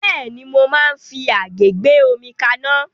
Bẹ́ẹ̀ni, mo máa ń fi àgé gbé omi kaná.